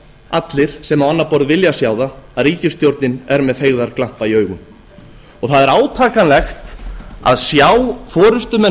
allir sem á annað borð vilja sjá það að ríkisstjórnin er með feigðarglampa í augum það er átakanlegt að sjá forustumenn